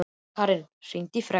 Keran, hringdu í Fregn.